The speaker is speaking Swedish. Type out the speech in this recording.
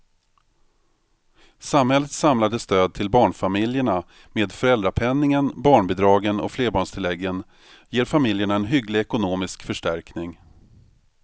Samhällets samlade stöd till barnfamiljerna med föräldrapenningen, barnbidragen och flerbarnstilläggen ger familjerna en hygglig ekonomisk förstärkning.